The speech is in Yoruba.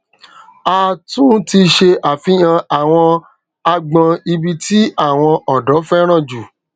a tún ti ṣe àfihàn àwọn agbon ibi tí àwon ọdọ féràn ju